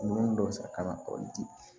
Nun dɔ sɔrɔ ka na kɔrɔli di